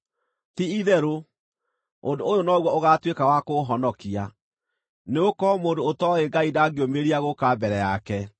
Ti-itherũ, ũndũ ũyũ noguo ũgaatuĩka wa kũũhonokia, nĩgũkorwo mũndũ ũtooĩ Ngai ndangĩũmĩrĩria gũũka mbere yake!